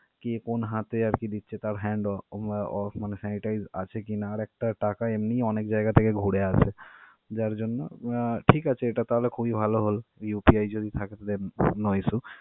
কে কোন হাতে আর কি দিচ্ছে তার hand আহ মনে হয় sanitise আছে কি না. আর একটা টাকা এমনিই অনেক জায়গা থেকে ঘুরে আসে. যার জন্য আহ ঠিক আছে এটা তাহলে খুবই ভালো হল UPI যদি থাকে .